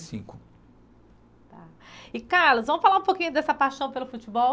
cinco tá E Carlos, vamos falar um pouquinho dessa paixão pelo futebol?